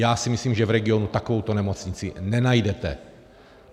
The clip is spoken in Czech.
Já si myslím, že v regionu takovouto nemocnici nenajdete.